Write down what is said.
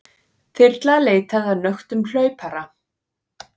Þyrla leitaði að nöktum hlaupara